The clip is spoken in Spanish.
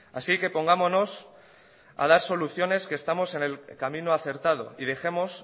así que pongámonos a dar soluciones que estamos en el camino acertado y dejemos